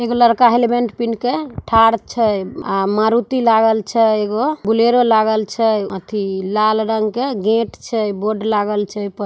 एक लड़का है हेलमेट पेहेन केथाड़ छै आ मारुती लागल छैएगो बोलोरो लागल छै एथी लाल रंग के गेट छै बोर्ड लागल छै ऊपर।